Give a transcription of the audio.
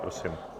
Prosím.